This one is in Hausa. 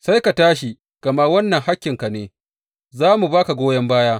Sai ka tashi, gama wannan hakkinka ne, za mu ba ka goyon baya.